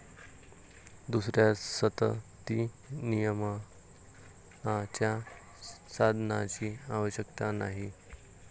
दुसऱ्या संततिनियमनाच्या साधनाची आवश्यकता नाही.